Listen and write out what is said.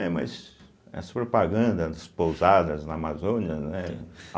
É, mas as propagandas, as pousadas na Amazônia, né?